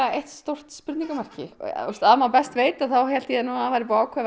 eitt stórt spurningamerki að maður best veit þá hélt ég nú að það væri búið ákveða